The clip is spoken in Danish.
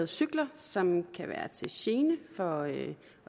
cykler som kan være til gene for